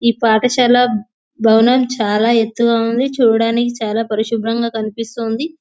ఈ పాఠశాల భవనం చాలా ఎత్తుగా ఉంది. చూడడానికి చాలా పరిశుభ్రంగా కనిపిస్తుంది.